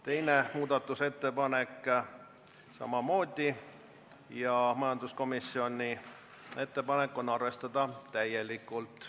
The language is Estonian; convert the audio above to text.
Teine muudatusettepanek on samamoodi majanduskomisjonilt ja ettepanek on arvestada täielikult.